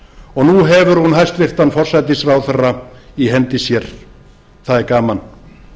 og nú hefur hún hæstvirtur forsætisráðherra í hendi sér og það er gaman